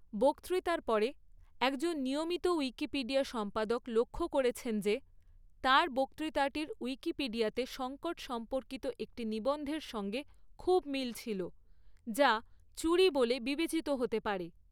বক্তৃতার পরে, একজন নিয়মিত উইকিপিডিয়া সম্পাদক লক্ষ্য করেছেন যে তার বক্তৃতাটির উইকিপিডিয়াতে সংকট সম্পর্কিত একটি নিবন্ধের সঙ্গে খুব মিল ছিল, যা চুরি বলে বিবেচিত হতে পারে।